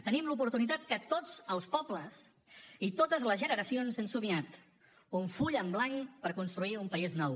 tenim l’oportunitat que tots els pobles i totes les generacions han somiat un full en blanc per construir un país nou